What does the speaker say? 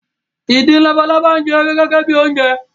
Ìdin labalábá ń jẹ ewé gẹ́gẹ́ bi oúnjẹ